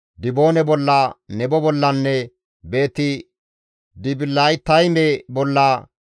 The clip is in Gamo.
Diboone bolla, Nebo bollanne Beeti-Dibilaatayme bolla,